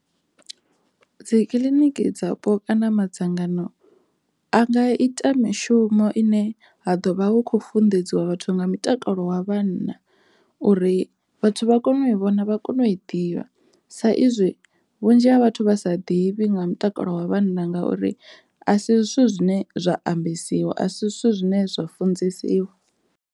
Dzi kiḽiniki dzapo kana madzangano a nga ita mishumo ine ha ḓo vha hu khou funḓedziwa vhathu nga mutakalo wa vhanna uri vhathu vha kone u i vhona vha kone u i ḓivha sa izwi vhunzhi ha vhathu vha sa ḓivhi nga mutakalo wa vhanna ngauri a si zwithu zwine zwa ambesiwa a si zwithu zwine zwa funzesiwa.